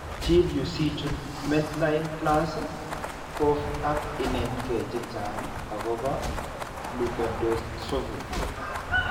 Chil yu sichut MedlinePlus gov ak inetgee chechang' akobo Leukodystrophy.